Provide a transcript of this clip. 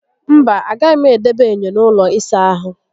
Mba, agaghị m edebe enyo n'ụlọ ịsa ahụ